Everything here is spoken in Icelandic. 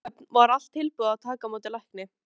Á Raufarhöfn var allt tilbúið að taka á móti lækni.